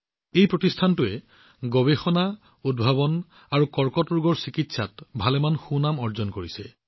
এই প্ৰতিষ্ঠানটোৱে গৱেষণা উদ্ভাৱন আৰু কৰ্কট ৰোগৰ ক্ষেত্ৰত যথেষ্ট সুনাম অৰ্জন কৰিছে